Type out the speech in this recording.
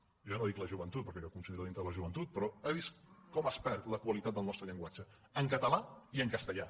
jo ja no dic la joventut perquè jo em considero dintre de la joventut però ha vist com es perd la qualitat del nostre llenguatge en català i en castellà